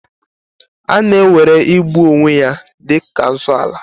A na-ewere igbu onwe ya dị ka nsoala